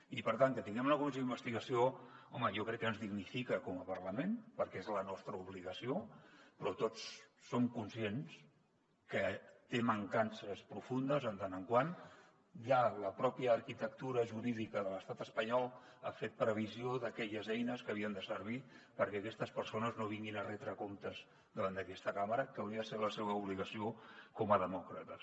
i per tant que tinguem una comissió d’investigació home jo crec que ens dignifica com a parlament perquè és la nostra obligació però tots som conscients que té mancances profundes en tant que ja la pròpia arquitectura jurídica de l’estat espanyol ha fet previsió d’aquelles eines que havien de servir perquè aquestes persones no vinguin a retre comptes davant d’aquesta càmera que hauria de ser la seva obligació com a demòcrates